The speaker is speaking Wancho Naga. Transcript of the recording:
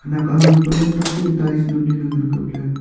khenek aham pe lamtang chu tails namley ley ngan kap ley.